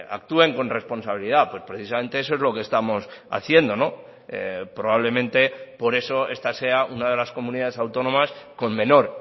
actúen con responsabilidad pues precisamente eso es lo que estamos haciendo probablemente por eso esta sea una de las comunidades autónomas con menor